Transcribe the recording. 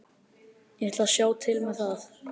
Ég ætla að sjá til með það.